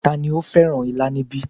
Tani ó fẹ́ràn ilá níbí